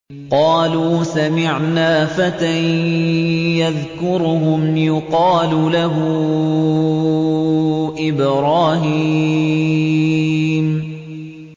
قَالُوا سَمِعْنَا فَتًى يَذْكُرُهُمْ يُقَالُ لَهُ إِبْرَاهِيمُ